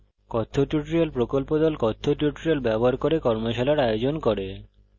কথ্য tutorial প্রকল্প the কথ্য tutorial ব্যবহার করে কর্মশালার আয়োজন করে